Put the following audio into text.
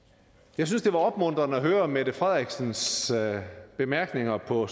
jeg synes det var opmuntrende at høre mette frederiksens bemærkninger på